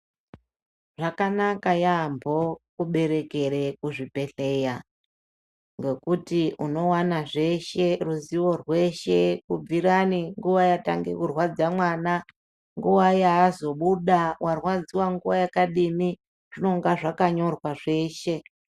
Zvakanaka yambo kuberekera kuzvibhedhlera nokuti unowana zveshe ruzivo rweshe kubvira nguwa yatanga kurwadza mwana nguwa yazobuda warwadziwa nguwa yakadini zvinonga zvakanyorwa zveshe.